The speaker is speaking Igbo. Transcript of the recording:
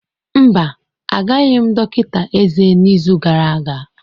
Mba, agaghị m dọkịta eze n'izu gara aga.